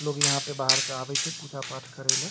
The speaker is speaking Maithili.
लोग यहाँ पे बाहर से आवे छै पूजा-पाठ करेले।